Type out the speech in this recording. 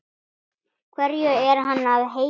Hverju er hann að heita?